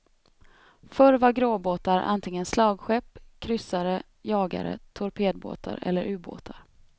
Förr var gråbåtar antingen slagskepp, kryssare, jagare, torpedbåtar eller ubåtar.